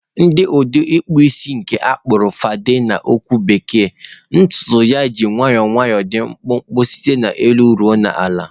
Na udi ikpu isi nke na akpo fadi na okwu bekee, ntutu na-eji nwayọọ nwayọọ dị mkpụmkpụ site n'elu ruo na ala.